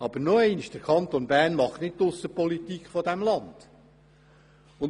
Aber nochmals: Der Kanton Bern macht nicht die Aussenpolitik dieses Landes.